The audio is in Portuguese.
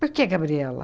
Por que, Gabriela?